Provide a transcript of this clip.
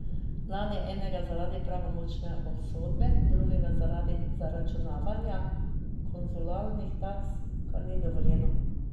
Lani enega zaradi pravnomočne obsodbe, drugo zaradi zaračunavanja konzularnih taks, kar ni dovoljeno.